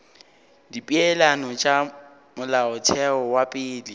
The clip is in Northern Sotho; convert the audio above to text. dipeelano tša molaotheo wa pele